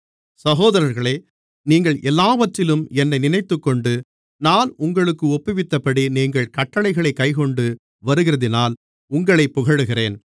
சகோதரர்களே நீங்கள் எல்லாவற்றிலும் என்னை நினைத்துக்கொண்டு நான் உங்களுக்கு ஒப்புவித்தபடி நீங்கள் கட்டளைகளைக் கைக்கொண்டு வருகிறதினால் உங்களைப் புகழுகிறேன்